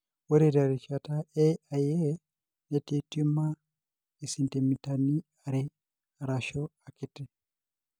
ore terishata e IA ,netii tumor esentimitani are arashu akiti.